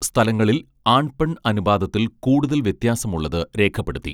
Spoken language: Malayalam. സ്ഥലങ്ങളിൽ ആൺ പെൺ അനുപാതത്തിൽ കൂടുതൽ വ്യത്യാസമുള്ളത് രേഖപ്പെടുത്തി